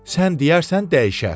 Sən deyərsən dəyişər.